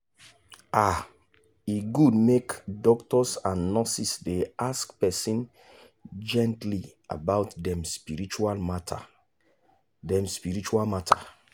ah e good make doctors and nurses dey ask person gently about dem spiritual matter. dem spiritual matter.